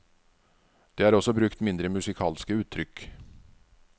Det er også brukt mindre musikalske uttrykk.